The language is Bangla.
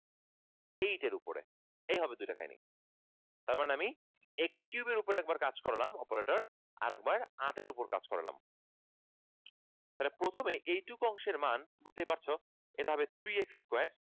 eight এর উপরে এই হবে দুই টা কাহিনী তার মানে আমি x cube এর উপরে একবার কাজ করলাম operator আরেকবার আটের উপর কাজ করালাম তাহলে প্রথমে এই এইটুকু অংশের মান বুঝতেই পারছো এভাবে three x square